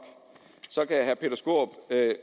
kan